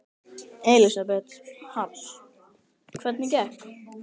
Elísabet Hall: Hvernig gekk?